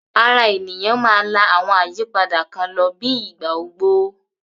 Ara ènìyàn máa la àwọn àyípadà kan lọ bíi ìgbà ogbó